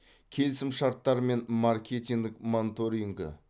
келісімшарттар мен маркетинг монторингі